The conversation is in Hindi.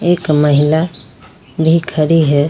एक महिला भी खड़ी है।